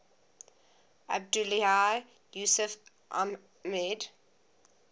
abdullahi yusuf ahmed